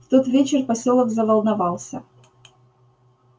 в тот вечер посёлок заволновался